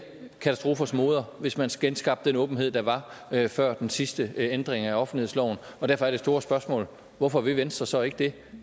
katastrofers moder hvis man genskabte den åbenhed der var før den sidste ændring af offentlighedsloven og derfor er det store spørgsmål hvorfor vil venstre så ikke det